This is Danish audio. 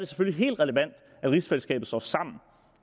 selvfølgelig helt relevant at rigsfællesskabet står sammen